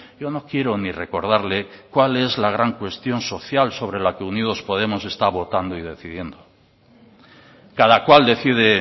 yo no quiero ni recordarle cuál es la gran cuestión social sobre la que unidos podemos está votando y decidiendo cada cual decide